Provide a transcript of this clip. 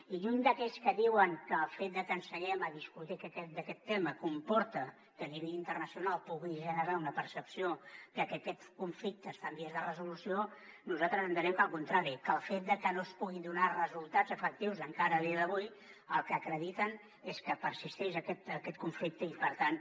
i lluny d’aquells que diuen que el fet de que seguem a discutir d’aquest tema comporta que a nivell internacional pugui generar una percepció de que aquest conflicte està en vies de resolució nosaltres entenem que al contrari el fet de que no es puguin donar resultats efectius encara a dia d’avui el que acredita és que persisteix aquest conflicte i per tant